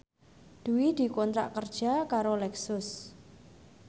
Dwi dikontrak kerja karo Lexus